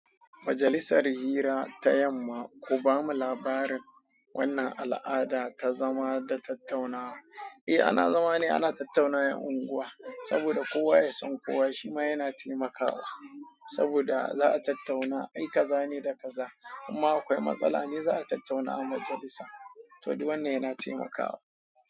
Majalisar hira ta yamma, ku bamu labarin wannan al'ada ta zama da tattaunawa. Eh ana zama ne ana tattaunawar unguwa, saboda kowa ya san kowa shi ma yana taimakawa. Saboda za a tattauna ai kaza ne da kaza amma akwai matsala ne za a tattauna a majalisa. To du wannan yana taimaka wa.